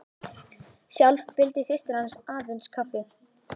Sjálf vildi systir hans aðeins kaffi.